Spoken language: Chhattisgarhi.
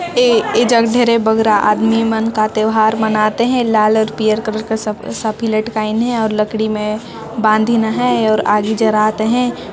ए एजग धरे भगराय आदमी मन का त्योहार मनात हे लाल और पियर कलर का साफ़ी लटकाएन हे और लकड़ी म बाँधीन हैं और आगी जरात हैं ।